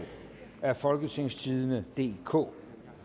af folketingstidende DK